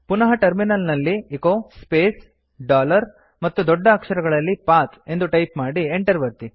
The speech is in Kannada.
ಪುನಃ ಟರ್ಮಿನಲ್ ನಲ್ಲಿ ಎಚೊ ಸ್ಪೇಸ್ ಡಾಲರ್ ಮತ್ತು ದೊಡ್ಡ ಅಕ್ಷರಗಳಲ್ಲಿ p a t ಹ್ ಎಂದು ಟೈಪ್ ಮಾಡಿ ಎಂಟರ್ ಒತ್ತಿ